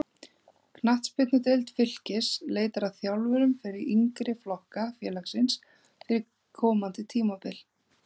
Knattspyrnudeild Fylkis leitar að þjálfurum fyrir yngri flokka félagsins fyrir komandi tímabil.